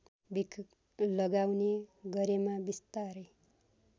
लगाउने गरेमा बिस्तारै